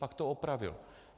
Tak to opravil.